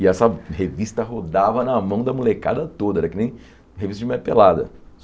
E essa revista rodava na mão da molecada toda, era que nem revista de mulher pelada.